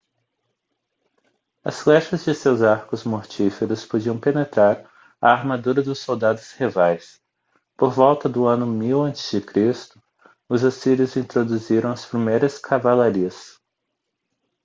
as flechas de seus arcos mortíferos podiam penetrar a armadura dos soldados rivais por volta do ano 1000 a.c. os assírios introduziram as primeiras cavalarias